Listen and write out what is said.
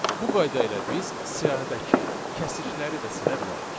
Bu qayda ilə biz siyahıdakı kəsikləri də silə bilərik.